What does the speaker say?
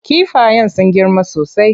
Kifayen sun girma sosai.